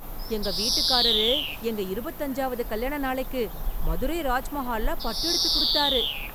எங்க வீட்டுக்காரர் எங்க இருபத்து அஞ்சாவது கல்யாண நாளைக்கு மதுரை ராஜ்மஹால்ல பட்டு எடுத்து கொடுத்தாரு.